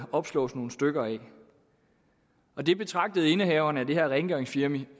opslås nogle stykker af og det betragtede indehaveren af det her rengøringsfirma